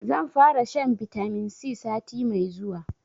Zan fara shan bitamin C sati mai zuwa